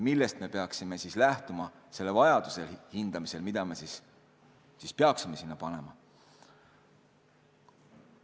Millest me peaksime lähtuma selle vajaduse hindamisel, mida me peaksime sinna panema?